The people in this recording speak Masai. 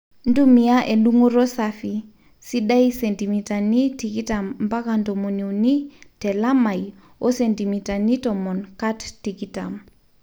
ntumiaa edungoto safi, sidai sentimitani tikitam mpaka ntomoni uni teelamai oo sentimitani tomon kat tikitam